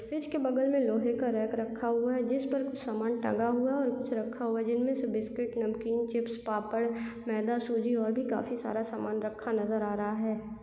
Fridge के बगल में लोहे का रैक रखा हुआ है जिस पर कुछ सामान टंगा हुआ है और कुछ रखा हुआ जिनमें से बिस्किट नमकीन चिप्स पापड़ मैदा सूजी और भी काफी सारा सामान रखा नज़र आ रहा है।